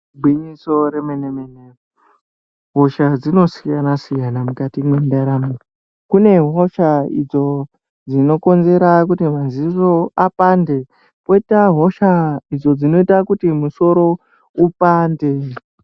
Igwinyiso remen-emene, hosha dzinosiyana-siyana mukati mwendaramo yedu. Kune hosha idzo dzinokonzera kuti mazino apande ,kwoita hosha idzo dzinoita kuti musoro upande.